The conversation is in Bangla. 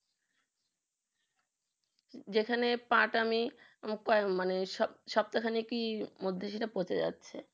যেখানে পাঠ আমি রূপায়ণ মানে সব সপ্তহা খানিকের মধ্যে সেটা পচে যাচ্ছে